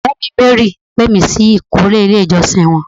Ọ̀rẹ́ mi, Mary pé mi sí ìkórè ilé ìjọsìn wọn